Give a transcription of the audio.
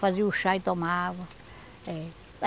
Fazia o chá e tomava. Eh